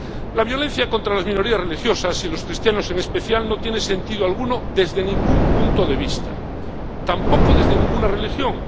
La violencia contra las minorías religiosas —y los cristianos en especial— no tiene sentido alguno desde ningún punto de vista, tampoco desde ninguna religión.